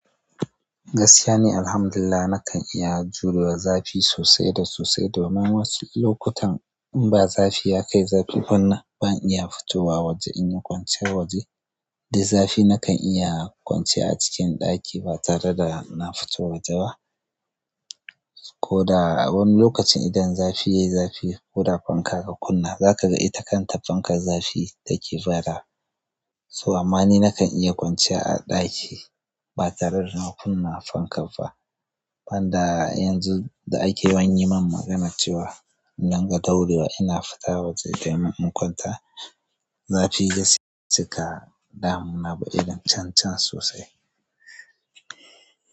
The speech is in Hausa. Gaskiya ne, Alhamdulillah, nakan iya jurewa zafi sosai da sosai. Toh ma wasu lokutan inba zafi ya kai zafi ban iya fitowa waje inyi kwanciya waje. Duk zafi nakan iya kwanciya a cikin ɗaki ba tare da na fito waje ba. Ko da a wani lokacin idan zafi yayi zafi, koda fanka ka kunna, zaka ga ita kan ta fankar zafi take badawa. Toh ama ni nakan iya kwanciya a ɗaki ba tare da na kunna fanka ba. Ban da yanzu da ake yawan yi min magana cewa in dinga ɗaurewa ina fita waje domin in kwanta, zafi bai cika damu. Na bi irin cancan sosai.